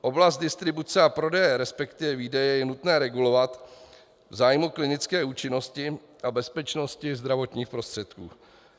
Oblast distribuce a prodeje, respektive výdeje, je nutné regulovat v zájmu klinické účinnosti a bezpečnosti zdravotních prostředků.